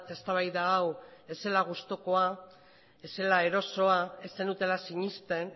eztabaida hau ez zela gustukoa ez zela erosoa ez zenutela sinesten